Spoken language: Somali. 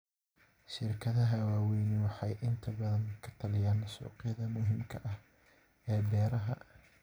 Shirkadaha waaweyni waxay inta badan ka taliyaan suuqyada muhiimka ah ee beeraha.